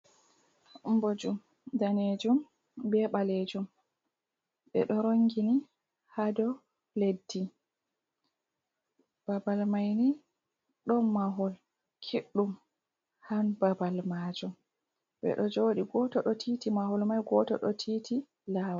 Boju danejum be balejum be do rongini hado leddi, babal maini don mahol kiddum han babal majum. Bedo jodi goto do titi mahol mai goto do titi lawol.